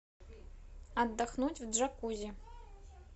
отдохнуть в джакузи